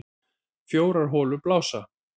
Fjórar holur blása